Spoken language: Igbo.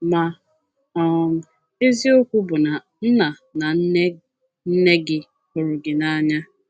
Ma um eziokwu bụ na nna na nne nne gị hụrụ gị n’anya.